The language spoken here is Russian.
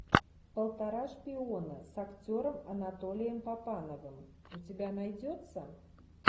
полтора шпиона с актером анатолием папановым у тебя найдется